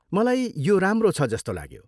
मलाई यो राम्रो छ जस्तो लाग्यो।